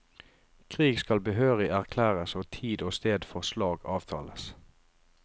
Krig skal behørig erklæres og tid og sted for slag avtales.